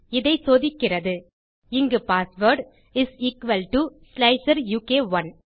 இதை சோதிக்கிறது இங்கு பாஸ்வேர்ட் is எக்குவல் டோ ஸ்லைசருக்1